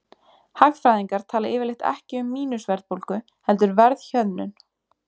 Hagfræðingar tala yfirleitt ekki um mínus-verðbólgu heldur verðhjöðnun.